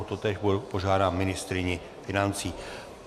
O totéž požádám ministryni financí.